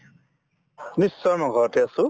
নিশ্চয় মই ঘৰতে আছো